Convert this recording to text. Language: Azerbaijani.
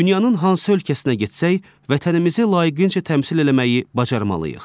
Dünyanın hansı ölkəsinə getsək, vətənimizi layiqincə təmsil eləməyi bacarmalıyıq.